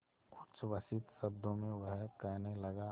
उच्छ्वसित शब्दों में वह कहने लगा